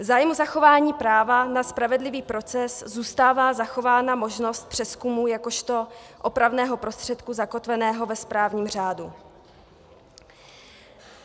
V zájmu zachování práva na spravedlivý proces zůstává zachována možnost přezkumu jakožto opravného prostředku zakotveného ve správním řádu.